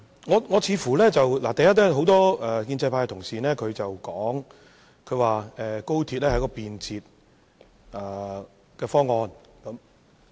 首先，似乎很多建制派同事都提到高鐵是一項便捷方案。